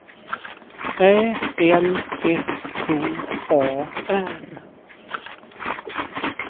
Ä L S K A R